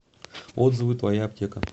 отзывы твоя аптека